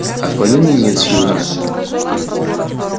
отклонений нет сьюзен